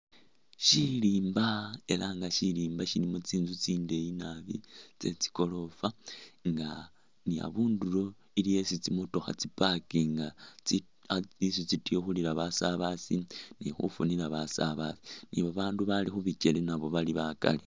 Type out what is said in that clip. Shilimba ela nga shilimba shilimo tsinzu tsindeeyi naabi tse tsigoroofa nga ni abundulo iliwo yesi tsi'motokha tsi'pakinga tsi ah isi tsi'tikhulila basabaazi ni khufunila basabaazi, abandu abaali khu bikeele nabo bali bakaali.